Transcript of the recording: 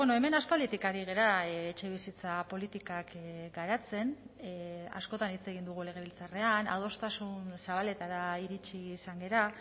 hemen aspalditik ari gara etxebizitza politikak garatzen askotan hitz egin dugu legebiltzarrean adostasun zabaletara iritsi izan gara